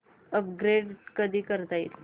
upgrade कधी करता येईल